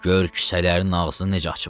Gör kisələrinin ağzını necə açıblar.